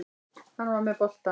Hann var með boltann.